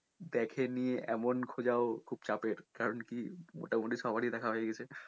দেখে নি এমন খোঁজাও খুব চাপের কারন কি মোটামটি সবারই দেখা হয়ে গেছে